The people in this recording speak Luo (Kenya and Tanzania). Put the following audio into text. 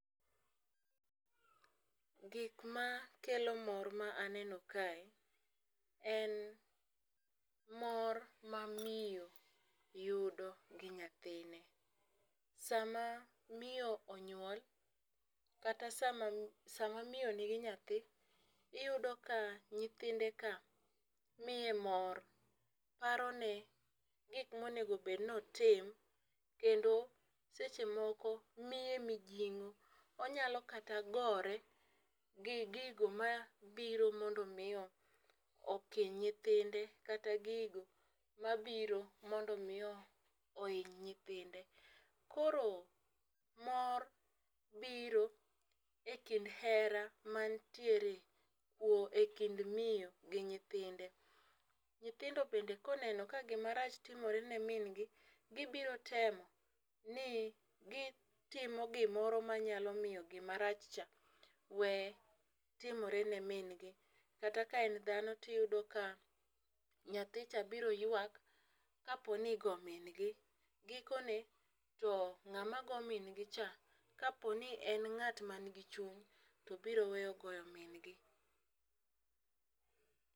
Gik ma kelo mor ma aneno kae, en mor ma miyo yudo gi nyathine. Sa ma miyo onyuol kata sama sama miyo nigi nyathi, iyudo ka nyithinde ka miye mor. Paro ne gik ma onego bed ni otim. Kendo seche moko, miye mijingó, onyalo kata gore gi gigo ma biro mondo omi okiny nyithinde, kata gigo mabiro mondo omi ohiny nyithinde. Koro mor biro e kind hera mantiere e kind miyo gi nyithinde. Nyithindo bende ka oneno ka gimarach timore ne min gi, gibiro temo ni gitimo gimoro ma nyalo miyo gima rach cha, we timore ne min gi. Kata ka en dhano to iyudo ka, nyathicha biro ywak ka po ni igo min gi. Gikone to ngáma go min gi cha, ka po ni en ngát ma nigi chuny, to biro weyo goyo min gi.